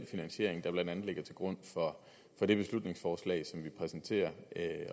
finansiering der blandt andet ligger til grund for det beslutningsforslag som vi præsenterer